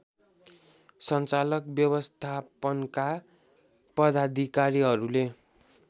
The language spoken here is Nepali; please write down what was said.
सञ्चालक व्यवस्थापनका पदाधिकारीहरूले